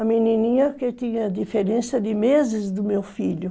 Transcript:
A menininha que tinha diferença de meses do meu filho.